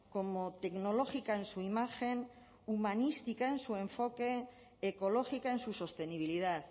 como tecnológica en su imagen humanística en su enfoque ecológica en su sostenibilidad